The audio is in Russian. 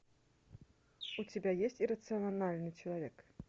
у тебя есть иррациональный человек